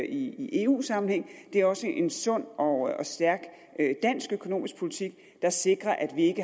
i eu sammenhæng det er også en sund og stærk dansk økonomisk politik der sikrer at vi